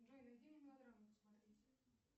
джой найди мелодраму смотреть